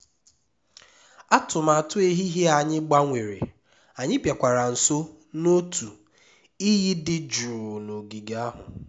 atụmatụ ehihie anyị gbanwere anyị bịakwara nso n'otu iyi dị jụụ n'ogige ahụ